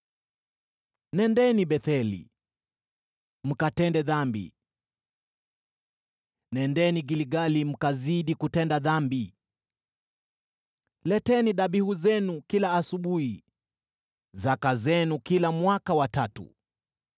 “Nendeni Betheli mkatende dhambi; nendeni Gilgali mkazidi kutenda dhambi. Leteni dhabihu zenu kila asubuhi, zaka zenu kila mwaka wa tatu.